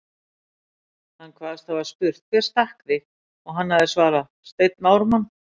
Hann kvaðst hafa spurt: Hver stakk þig? og hann hefði svarað: Steinn Ármann